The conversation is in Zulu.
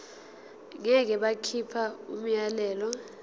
ngeke bakhipha umyalelo